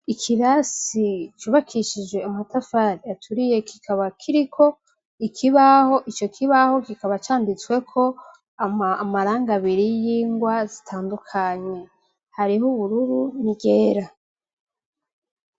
Ikirasi cubakishije amatafari aturiye kikaba kiriko ikibaho ico kibaho kikaba canditsweko amaranga abiri y'ingwa zitandukanye hariho ubururu ngera.